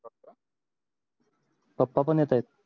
पप्पा पण येत आहेत